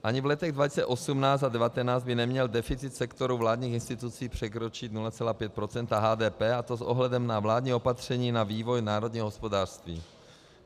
Ani v letech 2018 a 2019 by neměl deficit sektoru vládních institucí překročit 0,5 % HDP, a to s ohledem na vládní opatření na vývoj národního hospodářství.